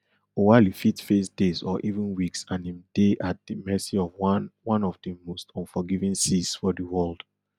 oualy fit face days or even weeks and im dey at di mercy of one one of di most unforgiving seas for world